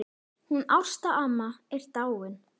Hún Ásta amma er dáin.